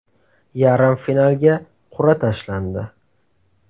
Yarim finalga qur’a tashlandi.